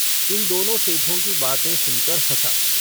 इन दोनों सेठों की बातें सुनकर हँसा।